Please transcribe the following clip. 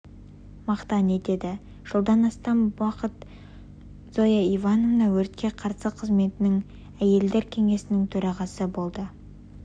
мақтан етеді жылдан астам жылдар бойы зоя ивановна өртке қарсы қызметінің әелдер кеңесінің төрағасы болды